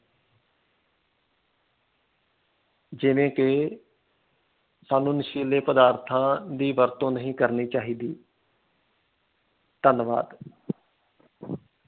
ਜਿਵੇ ਕਿ ਸਾਨੂੰ ਨਸ਼ੀਲੇ ਪਦਾਰਥਾਂ ਦੀ ਵਰਤੋਂ ਨਹੀਂ ਕਰਨੀ ਚਾਹੀਦੀ। ਧੰਨਵਾਦ l